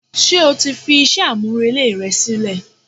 ṣe o ti fi iṣẹ a-mú-relé rẹ silẹ?